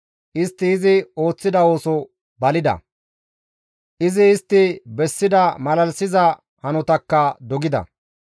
Istti izi ooththida ooso balida; izi istti bessida malalisiza hanotakka dogida.